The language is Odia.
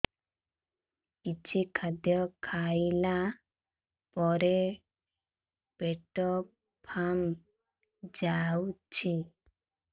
କିଛି ଖାଦ୍ୟ ଖାଇଲା ପରେ ପେଟ ଫାମ୍ପି ଯାଉଛି